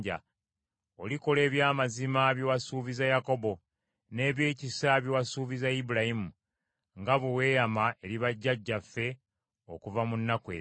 Olikola eby’amazima bye wasuubiza Yakobo, n’ebyekisa bye wasuubiza Ibulayimu, nga bwe weeyama eri bajjajjaffe okuva mu nnaku ez’edda.